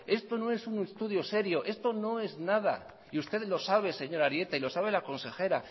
esto no es un estudio serio esto no es nada y ustedes lo saben señor arieta y lo sabe la consejera